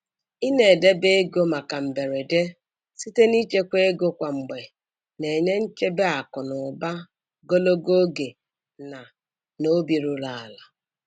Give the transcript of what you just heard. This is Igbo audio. I na-edebe ego maka mberede site n'ịchekwa ego kwa mgbe na-enye nchebe akụ na ụba gologo oge na na obi ruru ala.